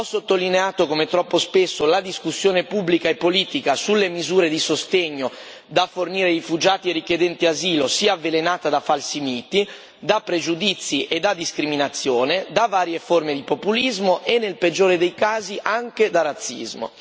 Ho sottolineato come troppo spesso la discussione pubblica e politica sulle misure di sostegno da fornire ai rifugiati e richiedenti asilo sia avvelenata da falsi miti, da pregiudizi e da discriminazione, da varie forme di populismo e, nel peggiore dei casi, anche da razzismo.